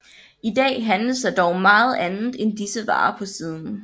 I dag handles der dog meget andet end disse varer på siden